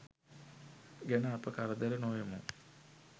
ගැන අප කරදර නොවෙමු.